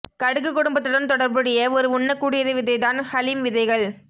கடுகு குடும்பத்துடன் தொடர்புடைய ஒரு உண்ணக்கூடியது விதை தான் ஹலிம் விதைகள்